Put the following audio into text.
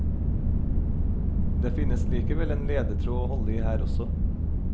Det finnes likevel en ledetråd å holde i her også.